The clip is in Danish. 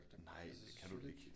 Nej det kan du vel ikke